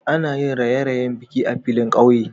Ana yin raƴe-raƴen biki a filin ƙauye.